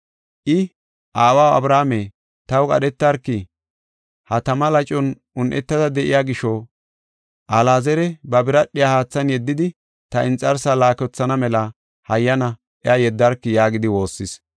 I, ‘Aawaw Abrahaame, taw qadhetarki; ha tama lacon un7etada de7iya gisho Alaazari ba biradhiya haathan yeddidi ta inxarsa laakothana mela hayyana iya yeddarki’ yaagidi waassis.